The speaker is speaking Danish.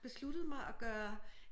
Besluttet mig at gøre